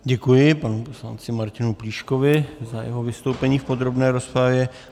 Děkuji panu poslanci Martinu Plíškovi za jeho vystoupení v podrobné rozpravě.